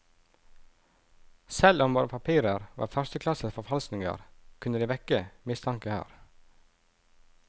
Selv om våre papirer var førsteklasses forfalskninger, kunne de vekke mistanke her.